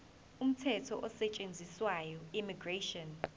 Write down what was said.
umthetho osetshenziswayo immigration